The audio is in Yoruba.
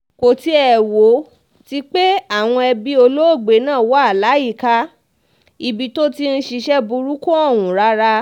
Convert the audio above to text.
kò tiẹ̀ wo ti um pé àwọn ẹbí olóògbé náà wà um láyìíká ibi tó ti ń ṣiṣẹ́ burúkú ọ̀hún rárá